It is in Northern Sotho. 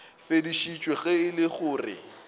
fedišwa ge e le gore